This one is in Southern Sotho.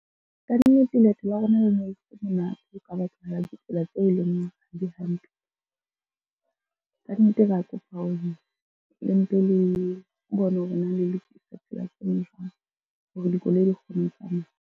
Kannete leeto la rona le ne le monate ka baka la ditsela tseo e leng di hantle. Ka nnete ra kopa hore le mpe le bone hore na le lokisa tsela tsena jwang hore dikoloi di kgone ho tsamaya.